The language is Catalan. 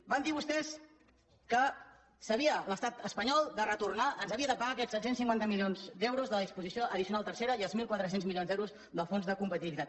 van dir vostès que ens havia l’estat espanyol de retornar ens havia de pagar aquests set cents i cinquanta milions d’euros de la disposició addicional tercera i els mil quatre cents milions d’euros del fons de competitivitat